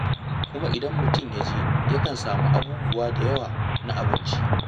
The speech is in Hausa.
Kuma idan mutum ya je yakan samu abubuwa da yawa na abinci.